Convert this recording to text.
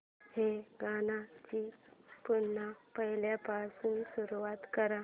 या गाण्या ची पुन्हा पहिल्यापासून सुरुवात कर